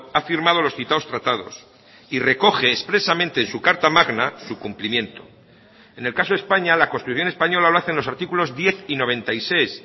ha firmado los citados tratados y recoge expresamente en su carta magna su cumplimiento en el caso de españa la constitución española lo hacen los artículos diez y noventa y seis